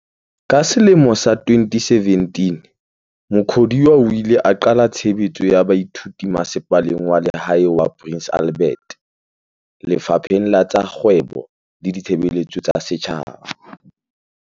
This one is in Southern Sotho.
Ka selemo sa 2017 Mukhodiwa o ile a qala tshebetso ya baithuti Masepaleng wa Lehae wa Prince Albert, Lefapheng la tsa Kgwebo le Ditshebeletso tsa Setjhaba.